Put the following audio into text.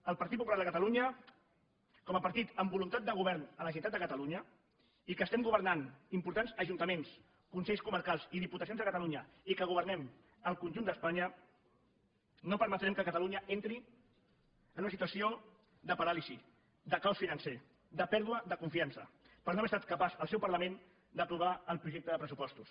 el partit popular de catalunya com a partit amb voluntat de govern a la generalitat de catalunya i que estem governant importants ajuntaments consells comarcals i diputacions a catalunya i que governem al conjunt d’espanya no permetrem que catalunya entri en una situació de paràlisi de caos financer de pèrdua de confiança per no haver estat capaç el seu parlament d’aprovar el projecte de pressupostos